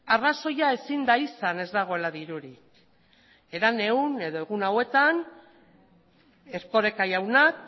arrazoia ezin da izan ez dagoela dirurik herenegun edo egun hauetan erkoreka jaunak